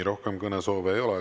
Rohkem kõnesoove ei ole.